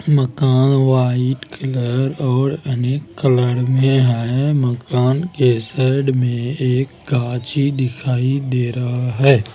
मकान white colour और अनेक कलर में है मकान के साइड में एक गाछी दिखाई दे रहा है।